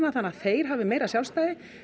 þannig að þeir hafi meira sjálfstæði